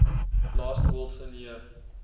last wilson year